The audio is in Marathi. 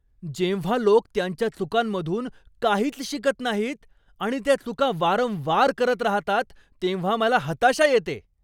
जेव्हा लोक त्यांच्या चुकांमधून काहीच शिकत नाहीत आणि त्या चुका वारंवार करत राहतात तेव्हा मला हताशा येते.